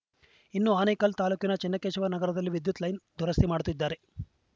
ಇನ್ನು ಆನೇಕಲ್‌ ತಾಲೂಕಿನ ಚೆನ್ನಕೇಶವ ನಗರದಲ್ಲಿ ವಿದ್ಯುತ್‌ ಲೈನ್‌ ದುರಸ್ತಿ ಮಾಡುತ್ತಿದ್ದರು